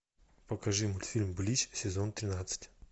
покажи мультфильм блич сезон тринадцать